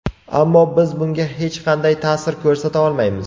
Ammo biz bunga hech qanday ta’sir ko‘rsata olmaymiz.